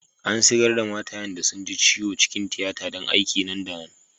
An sigar' da matayen da sun ji ciwo cikin tiyata dan aiki nan da nan.